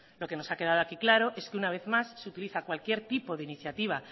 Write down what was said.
lo que nos ha quedado aquí claro es que una vez más se utiliza cualquier tipo de iniciativa